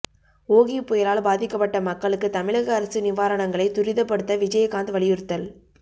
ஓகி புயலால் பாதிக்கப்பட்ட மக்களுக்கு தமிழக அரசு நிவாரணங்களை துரிதப்படுத்த விஜயகாந்த் வலியுறுத்தல்